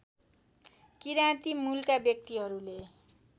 किराँती मूलका व्यक्तिहरूले